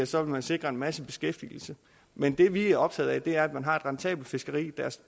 så vil man sikre en masse beskæftigelse men det vi er optaget af er at man har et rentabelt fiskeri der